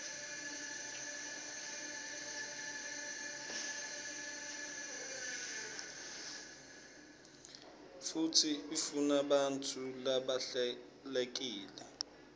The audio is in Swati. futsi ifunabantfu labahlelekile